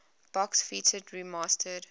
box featured remastered